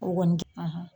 O kɔni